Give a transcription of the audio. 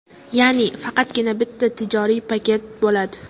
Ya’ni faqatgina bitta tijoriy paket bo‘ladi.